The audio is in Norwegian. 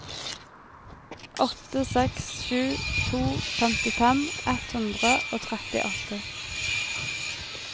åtte seks sju to femtifem ett hundre og trettiåtte